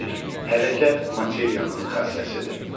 Hərəkət materiyanın xassəsidir.